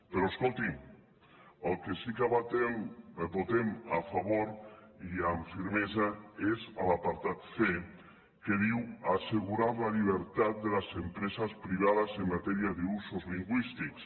però escolti’m el que sí que votem a favor i amb fermesa és l’apartat c que diu assegurar la llibertat de les empreses privades en matèria d’usos lingüístics